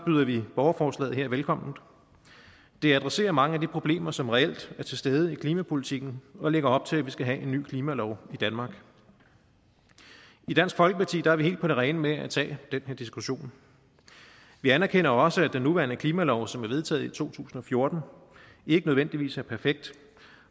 byder vi borgerforslaget her velkommen det adresserer mange af de problemer som reelt er til stede i klimapolitikken og lægger op til at vi skal have en ny klimalov i danmark i dansk folkeparti er vi helt på det rene med at tage den her diskussion vi anerkender også at den nuværende klimalov som er vedtaget i to tusind og fjorten ikke nødvendigvis er perfekt